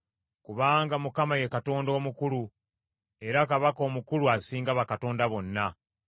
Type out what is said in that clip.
Kubanga Mukama ye Katonda Omukulu; era Kabaka Omukulu asinga bakatonda bonna.